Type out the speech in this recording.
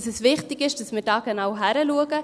Es ist wichtig, dass wir da genau hinschauen.